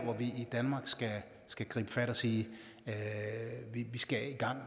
vi i danmark skal gribe fat og sige at vi skal i gang